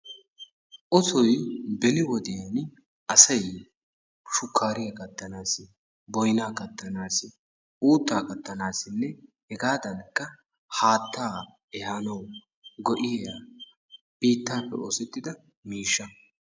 ussoy beni wodiyani asay shukkaariya kattanaassi boynaa kattanaassi uuttaa kattanaassinne hegaadankka haataa ehaanaassi go'iya biittaappe oosettida miishsha.